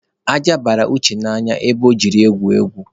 Aja bara Uche n'anya ebe ọ jere igwu egwu.